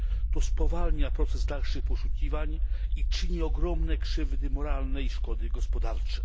To spowalnia proces dalszych poszukiwań i czyni ogromne krzywdy moralne i szkody gospodarcze.